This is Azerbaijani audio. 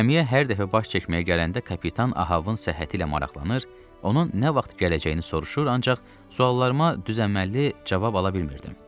Gəmiyə hər dəfə baş çəkməyə gələndə kapitan Ahabın səhhəti ilə maraqlanır, onun nə vaxt gələcəyini soruşur, ancaq suallarıma düzəngəlli cavab ala bilmirdim.